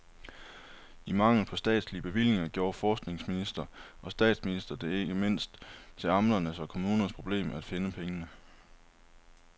I mangel på statslige bevillinger gjorde forskningsminister og statsminister det ikke mindst til amternes og kommunernes problem at finde pengene.